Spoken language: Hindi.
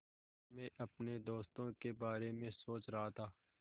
मैं अपने दोस्तों के बारे में सोच रहा था